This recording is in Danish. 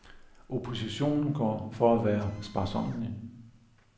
Oppositionen går for at være sparsommelig.